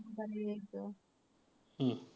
हं.